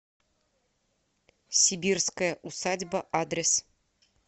сибирская усадьба адрес